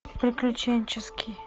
приключенческий